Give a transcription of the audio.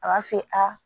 A b'a fɔ a